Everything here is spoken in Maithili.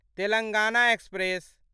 तेलंगाना एक्सप्रेस